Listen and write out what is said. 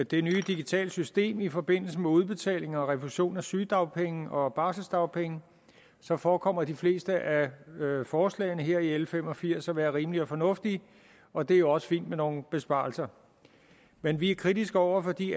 det nye digitale system i forbindelse med udbetaling og refusion af sygedagpenge og barseldagpenge forekommer de fleste af forslagene her i l fem og firs at være rimelige og fornuftige og det er også fint med nogle besparelser men vi er kritiske over for de